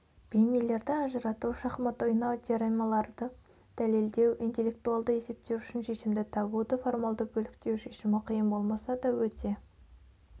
бейнелерді ажырату шахмат ойнау теоремаларды дәлелдеу интеллектуалды есептер үшін шешімді табуды формалды бөліктеу шешімі қиын болмаса да өте